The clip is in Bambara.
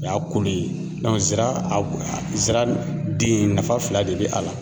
O y'a kolo ye zira a zira den nafa fila de be a la